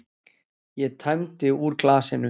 Ég tæmdi úr glasinu.